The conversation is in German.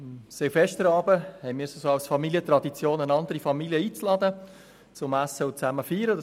Es ist in unserer Familie Tradition, am Silvesterabend eine andere Familie einzuladen, um gemeinsam zu essen und zu feiern.